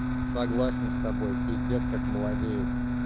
согласен с тобой пиздец как молодеет